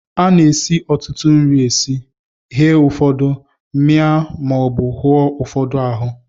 A na-esi ọtụtụ nri esi, ghee ụfọdụ, mịa maọbụ hụọ ụfọdụ ahụọ